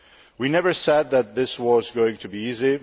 We never said that this was going to be easy.